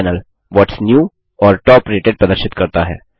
दायाँ panel what's new और top rated प्रदर्शित करता है